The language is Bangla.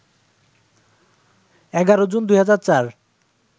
১১ জুন, ২০০৪